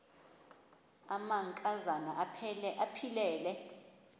amanka zana aphilele